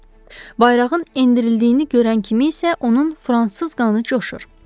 Bayrağın endirildiyini görən kimi isə onun fransız qanı coşur.